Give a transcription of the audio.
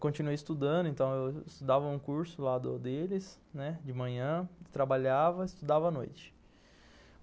Continuei estudando, então eu estudava um curso lá do deles, né, de manhã, trabalhava e estudava à noite.